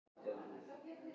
Sigmar Guðmundsson: Nóvember?